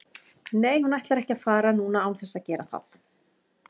Nei hún ætlar ekki að fara núna án þess að gera það.